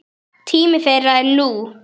Tími þeirra er nú.